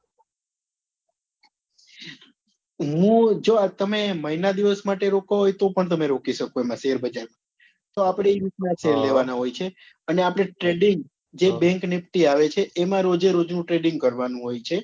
હું જો આ તમે મહિના દિવસ માટે રોકવા હોય તો પણ તમે રોકી શકો એમાં share બજાર માં તો આપડે એ રીત ના share લેવા ના હોય છે એ અને આપડે trading જે bank nifty ની આવે છે એમાં રોજે રોજ નું trading કરવા નું હોય છે